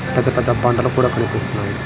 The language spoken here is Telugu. పెద్ద పెద్ద బండళ్ళు కూడా కనిపిస్తున్నాయి.